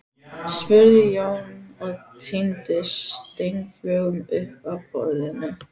spurði Jón og tíndi steinflögur upp af borðinu.